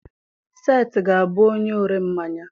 Seth ga-abụ onye ọre ḿmáñyá.